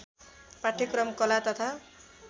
पाठ्यक्रम कला तथा